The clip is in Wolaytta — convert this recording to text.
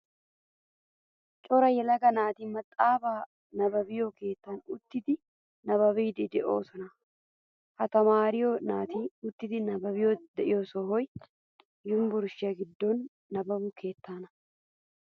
Cora yelaga naati maxaafaa nabbabbiyo keettan uttidi nabbabbidi deosona. Ha tamaare naati uttidi nabbabbidi de'iyo sohoy yunvurshiyaa giddon de'iyaa nabbabbo keettaana.